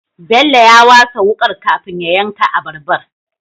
Bello ya wasa wukar kafin ya yanka abarbar